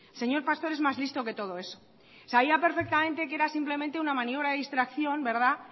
señor pastor es más listo que todo eso sabía perfectamente que era simplemente una maniobra de distracción